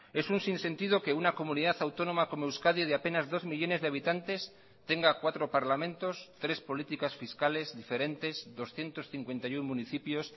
es un sinsentido que una comunidad autónoma como euskadi de apenas dos millónes de habitantes tenga cuatro parlamentos tres políticas fiscales diferentes doscientos cincuenta y uno municipios